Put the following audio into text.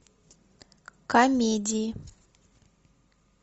комедии